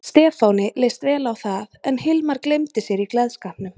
Stefáni leist vel á það en Hilmar gleymdi sér í gleðskapnum.